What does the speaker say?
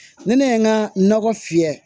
Ne ne ye n ka nɔgɔ fiyɛ